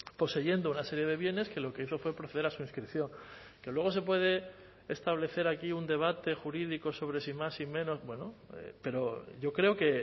poseyendo una serie de bienes que lo que hizo fue proceder a su inscripción que luego se puede establecer aquí un debate jurídico sobre si más si menos bueno pero yo creo que